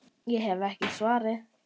Ég hef ekki svarið.